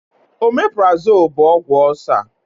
Ọmeprazole bụ ọgwụ ọcer